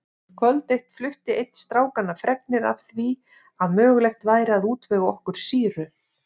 Kvöld eitt flutti einn strákanna fregnir af því að mögulegt væri að útvega okkur sýru.